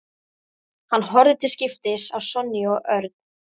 Hann horfði til skiptis á Sonju og Örn.